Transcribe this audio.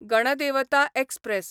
Ganadevata express